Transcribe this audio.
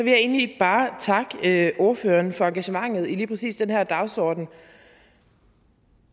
jeg egentlig bare takke ordførerne for engagementet i lige præcis den her dagsorden